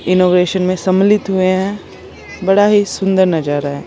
Innovation में सम्मिलित हुए हैं बड़ा ही सुंदर नजारा है।